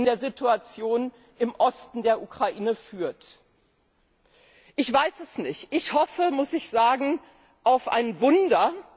der Situation im Osten der Ukraine führt. Ich weiß es nicht. Ich hoffe, muss ich sagen, auf ein Wunder.